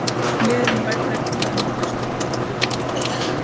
Liðurinn- vænn er til að mynda stuttur og þjáll.